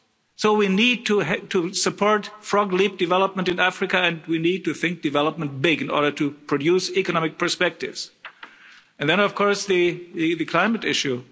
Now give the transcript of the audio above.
So we need to support leapfrog development in Africa and we need to think development big in order to produce economic perspectives. And then, of course, the climate issue.